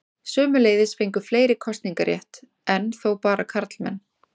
Sömuleiðis fengu fleiri kosningarétt, enn þó bara karlmenn.